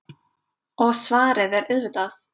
Og svarið er auðvitað